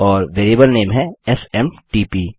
और variable name है SMTP